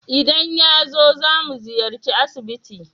Idan yazo, zamu ziyarci asibiti.